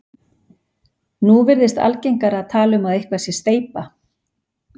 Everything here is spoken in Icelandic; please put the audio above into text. nú virðist algengara að tala um að eitthvað sé steypa